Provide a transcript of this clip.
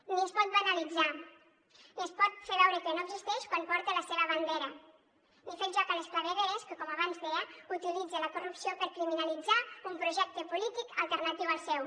ni es pot banalitzar ni es pot fer veure que no existeix quan porta la seva bandera ni fer el joc a les clavegueres que com abans deia utilitza la corrupció per criminalitzar un projecte polític alternatiu al seu